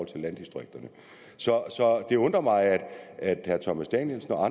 til landdistrikterne så det undrer mig at herre thomas danielsen og